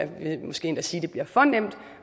vil måske endda sige